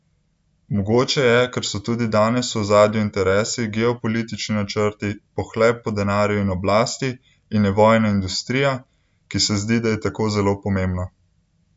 Mogoče je, ker so tudi danes v ozadju interesi, geopolitični načrti, pohlep po denarju in oblasti, in je vojna industrija, ki se zdi, da je tako zelo pomembna!